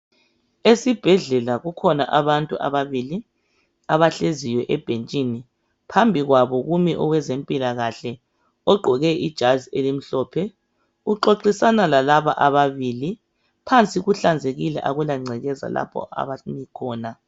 Esibhedlela kukhona abantu ababili, abahleziyo ebhentshini. Phambi kwabo kumi owezempilakahle ogqoke ijazi elimhlophe. Uxoxisana lalaba ababili. Phansi kuhlanzekile akula ngcekeza lapho abami khona.